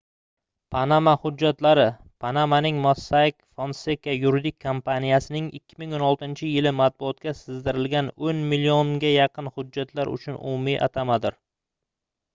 panama hujjatlari - panamaning mossack fonseca yuridik kompaniyasining 2016-yili matbuotga sizdirilgan oʻn millionga yaqin hujjatlar uchun umumiy atamadir